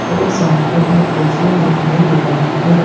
और सामने एक पेशेंट दिखाई दे रहा है।